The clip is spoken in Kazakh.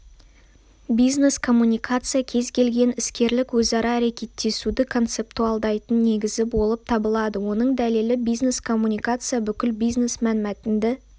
бизнес-коммуникация кез келген іскерлік өзара әрекеттесуді концептуалдайтын негізі болып табылады оның дәлелі бизнес-коммуникация бүкіл бизнес-мәнмәтінді